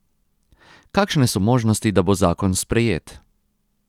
Kakšne so možnosti, da bo zakon sprejet?